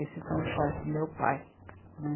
Esses são os pais do meu pai, né?